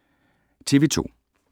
TV 2